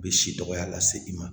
U bɛ si dɔgɔya lase i ma